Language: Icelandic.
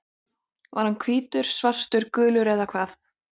Var hann hvítur, svartur, gulur eða hvað?